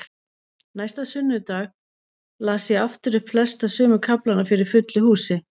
Næsta sunnudag las ég aftur upp flesta sömu kaflana fyrir fullu húsi.